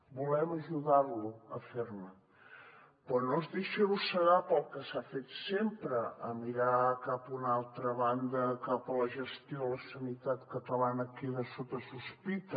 volem ajudar lo a fer ne però no es deixi arrossegar pel que s’ha fet sempre mirar cap a una altra banda cap a la gestió de la sanitat catalana que queda sota sospita